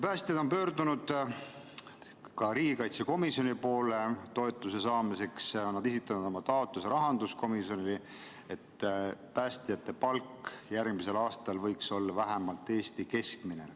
Päästjad on pöördunud toetuse saamiseks ka riigikaitsekomisjoni poole, nad on esitanud oma taotluse rahanduskomisjonile, et päästjate palk järgmisel aastal võiks olla vähemalt Eesti keskmine.